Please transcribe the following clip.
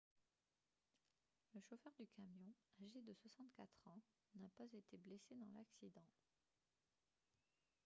le chauffeur du camion âgé de 64 ans n'a pas été blessé dans l'accident